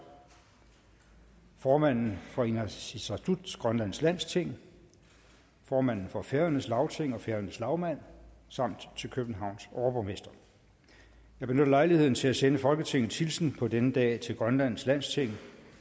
formanden for inatsisartut grønlands landsting formanden for færøernes lagting og færøernes lagmand samt til københavns overborgmester jeg benytter lejligheden til at sende folketingets hilsen på denne dag til grønlands landsting